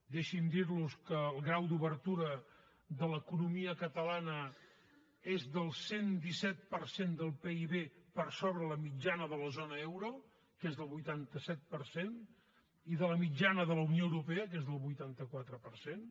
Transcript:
deixi’m dir los que el grau d’obertura de l’economia catalana és del cent i disset per cent del pib per sobre la mitjana de la zona euro que és del vuitanta set per cent i de la mitjana de la unió europea que és del vuitanta quatre per cent